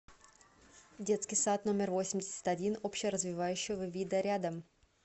детский сад номер восемьдесят один общеразвивающего вида рядом